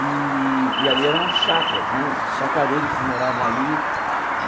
E e ali eram chacras né, chacradeiros que moravam ali.